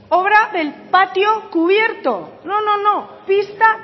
obra del patio cubierto no no pista